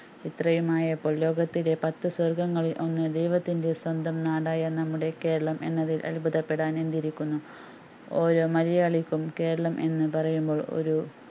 ഇത്രയും ആയപ്പോള്‍ ലോകത്തിലെ പത്തു സ്വര്‍ഗങ്ങളില്‍ ഒന്ന് ദൈവത്തിന്റെ സ്വന്തം നാടായ നമ്മുടെ കേരളം എന്നതില്‍ അത്ഭുതപ്പെടാന്‍ എന്തിരിക്കുന്നു ഓരോ മലയാളിക്കും കേരളം എന്ന് പറയുമ്പോൾ ഒരു